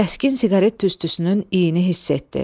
Kəskin siqaret tüstüsünün iyini hiss etdi.